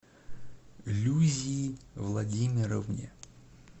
люзии владимировне